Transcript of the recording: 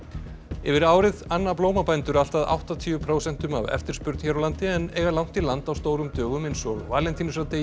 yfir árið anna allt að áttatíu prósentum af eftirspurn hér á landi en eiga langt í land á stórum dögum eins og valentínusardegi